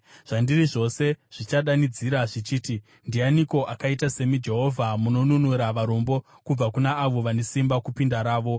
Zvandiri zvose zvichadanidzira zvichiti: “Ndianiko akaita semi, Jehovha? Munonunura varombo kubva kuna avo vane simba kupinda ravo.”